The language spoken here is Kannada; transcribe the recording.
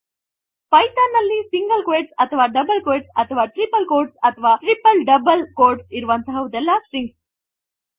ಪೈಥಾನ್ ನಲ್ಲಿ ಸಿಂಗಲ್ ಕ್ವೋಟ್ಸ್ ಅಥವಾ ಡಬಲ್ ಕ್ವೋಟ್ಸ್ ಅಥವಾ ಟ್ರಿಪಲ್ ಸಿಂಗಲ್ ಕ್ವೋಟ್ಸ್ ಅಥವಾ ಟ್ರಿಪಲ್ ಡಬಲ್ ಕ್ವೋಟ್ಸ್ ಇರುವಂತಹದೆಲ್ಲ ಸ್ಟ್ರಿಂಗ್ಸ್